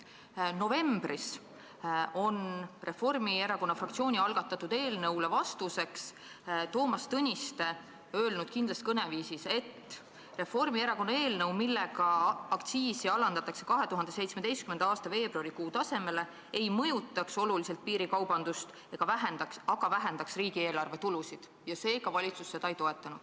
Novembris ütles Toomas Tõniste Reformierakonna fraktsiooni algatatud eelnõu hinnates kindlas kõneviisis, et Reformierakonna eelnõu, mille kohaselt aktsiisi alandataks 2017. aasta veebruarikuu tasemele, ei mõjutaks oluliselt piirikaubandust, aga vähendaks riigieelarve tulusid ja seega valitsus seda ei toeta.